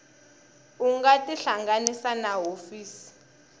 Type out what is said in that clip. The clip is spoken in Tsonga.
u nga tihlanganisa na hofisi